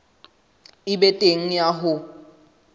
e be teng ya ho